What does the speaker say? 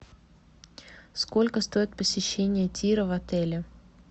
сколько стоит посещение тира в отеле